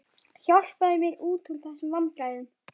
Hjálpaðu mér út úr þessum vandræðum.